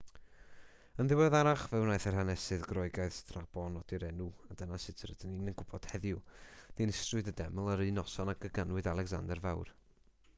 yn ddiweddarach fe wnaeth yr hanesydd groegaidd strabo nodi'r enw a dyna sut rydyn ni'n gwybod heddiw dinistriwyd y deml yr un noson ag y ganwyd alecsander fawr